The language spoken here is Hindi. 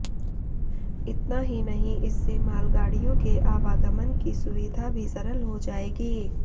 इतना ही नहीं इससे मालगाडिय़ों के आवागमन की सुविधा भी सरल हो जाएगी